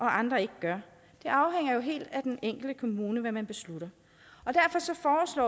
andre ikke gør det afhænger jo helt af den enkelte kommune hvad den beslutter